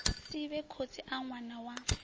sivhe khotsi a ṅwana wa